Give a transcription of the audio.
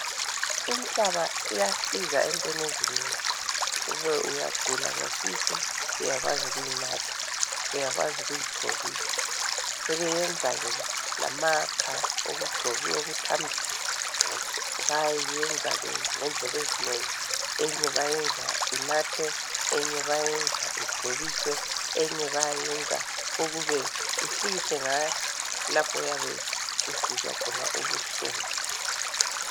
Inhlaba iyasiza ngendlela ezinengi kube uyagula ngesisu uyakwazi ukuyinatha uyakwazi ukuyigcobisa. Sebeyenza ke lamakha okugcoba okuthambisa. Bayayenza ngendlela ezehlukeneyo eyinye bayayenza inathwe eyinye bayayenza igcobiswe eyinye bayayenza ukuba uhlikihle ngayo lapho oyabe usizwa khona ubuhlungu.